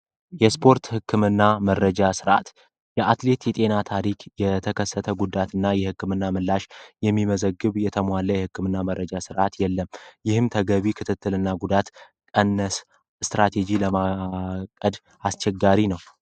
የስፖርት ሕክምና መረጃ ስርዓት የአትሌት የጤና ታሪክ የተከሰተ ጉዳት እና የሕክምና ምላሽ የሚመዘግብ የተሟለ የሕክምና መረጃ ስርዓት የለም ።ይህም ተገቢ ክትትል እና ጉዳት ቀነስ ስትራቴጂ ለማቀድ አስቸጋሪ ነው።